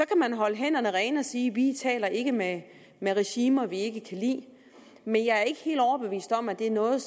kan holde hænderne rene og sige vi taler ikke med regimer vi ikke kan lide men jeg er ikke helt overbevist om at det er noget